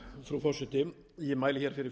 frú forseti ég mæli fyrir